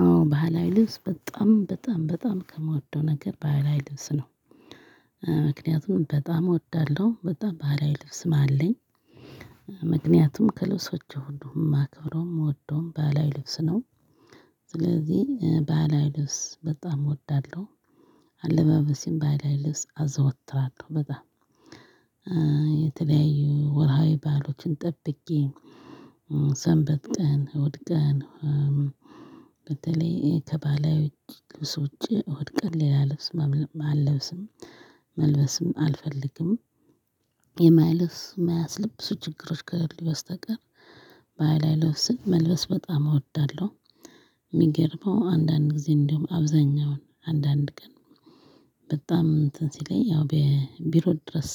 አዎ ባህላዊ ልብስ በጣም በጣም በጣም ከምወደው ነገር ባህላዊ ልብስ ነው። ምክንያቱም በጣም እወዳለሁ በጣም ባህላዊ ልብስም አለኝ ምክንያቱም ከልብሶቹ ሁሉም እማከብረውም እምወደውም ባህላዊ ልብስ ነው። ስለዚህ ባህላዊ ልብስ በጣም እወዳለሁ። አለባበሴም ባህላዊ ልብስ አዘወትራለሁ በጣም የተለያዩ ወርሃዊ ባእሎችን ጠብቄ ሰንበት ቀን እሁድ ቀን በተለይ ከባህላዊ ውጭ ልብሶች እሁድ ቀን ሌላ ልብስ አለብስም። መልበስም አልፈልግም። የማይለስ እማያስለብሱ ልብሱ ችግሮች ከገሌ በስተቀር ባህላዊ ልብስን መልበስ በጣም እወዳለሁ። የሚገርመው አንዳንድ ጊዜ እንዲሁም አብዛኛውን አንዳንድ ቀን በጣም እንትን ሲለኝ ያው በቢሮ ድረስ